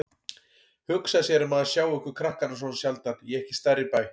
Hugsa sér að maður sjái ykkur krakkana svona sjaldan í ekki stærri bæ.